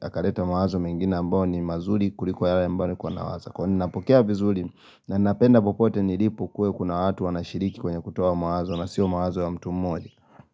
akaleta mawazo mengine ambao ni mazuri kuliko yale ambayo nilikuwa nawaza, kwa ninapokea vizuri na napenda popote nilipo kuwe kuna watu wanashiriki kwenye kutoa mawazo na sio mawazo ya mtu mmoja.